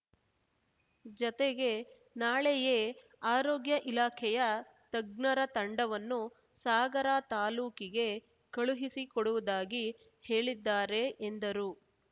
ಜತೆಗೆ ನಾಳೆಯೇ ಆರೋಗ್ಯ ಇಲಾಖೆಯ ತಜ್ಞರ ತಂಡವನ್ನು ಸಾಗರ ತಾಲೂಕಿಗೆ ಕಳುಹಿಸಿಕೊಡುವುದಾಗಿ ಹೇಳಿದ್ದಾರೆ ಎಂದರು